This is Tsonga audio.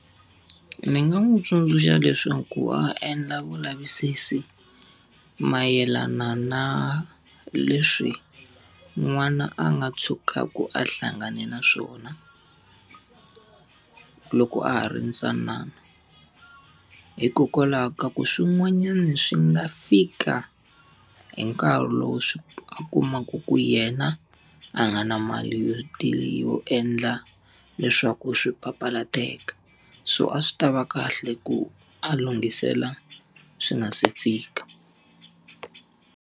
Ni nga n'wi tsundzuxa leswaku a endla vulavisisi mayelana na leswi n'wana a nga tshukaku a hlangane na swona loko a ha ri ntsanana. Hikokwalaho ka ku swin'wanyana swi nga fika hi nkarhi lowu swi a kumaka ku yena a va nga na mali yo yo endla leswaku swi papalateka. So a swi ta va kahle ku a lunghisela swi nga si fika.